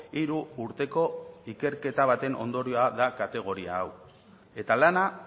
hiru urteko ikerketa baten ondorioa da kategoria hau eta lana